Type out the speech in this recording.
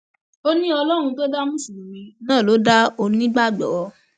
ó ní ọlọrun tó dá mùsùlùmí náà ló dá onígbàgbọ